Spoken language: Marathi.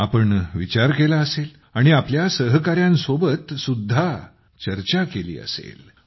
तुम्ही विचार केला असेल आणि तुमच्या सहकाऱ्यांसोबत सुद्धा चर्चा केली असेल